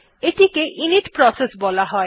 এইটিকে init process বলা হয়